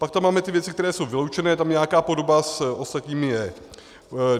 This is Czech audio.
Pak tam máme ty věci, které jsou doručené, tam nějaká podoba s ostatními je.